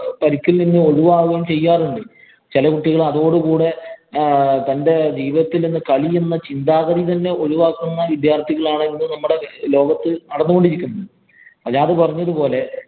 പരിക്കില്‍ നിന്നും ഒഴിവാകുകയും ചെയ്യാറുണ്ട്. ചെല കുട്ടികള്‍ അതോടു കൂടെ തന്‍റെ ജീവിതത്തില്‍ നിന്ന് കളി എന്ന ചിന്താഗതി തന്നെ ഒഴിവാക്കുന്ന വിദ്യാര്‍ത്ഥികളാണ് ഇന്ന് നമ്മുടെ ലോകത്ത് നടന്നു കൊണ്ടിരിക്കുന്നത്. സജാദ് പറഞ്ഞത് പോലെ